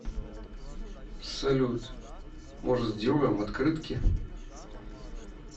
салют может сделаем открытки